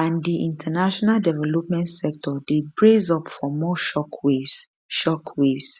and di international development sector dey brace up for more shockwaves shockwaves